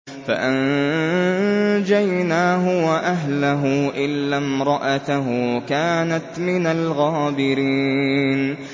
فَأَنجَيْنَاهُ وَأَهْلَهُ إِلَّا امْرَأَتَهُ كَانَتْ مِنَ الْغَابِرِينَ